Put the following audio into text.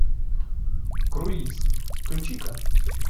круиз включи ка